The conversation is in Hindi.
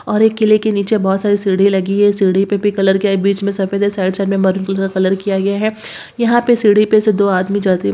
और एक किले के नीचे बहुत सारी सीढ़ी लगी है सीढ़ी पर भी कलर किया बीच में सफेद है साइड साइड में महरून कलर किया गया है यहां पे से सीढ़ी पे से दो आदमी --